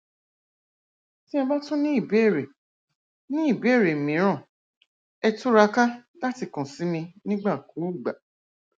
tí ẹ bá tún ní ìbéèrè ní ìbéèrè mìíràn ẹ túraká láti kàn sí mi nígbàkúùgbà